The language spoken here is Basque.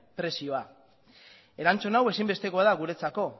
prezioa erantzun hau ezinbestekoa da guretzako